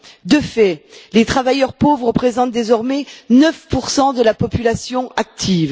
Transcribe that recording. De fait, les travailleurs pauvres représentent désormais 9 de la population active.